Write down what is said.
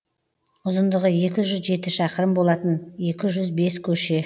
ұзындығы екі жүз жеті шақырым болатын екі жүз бес көше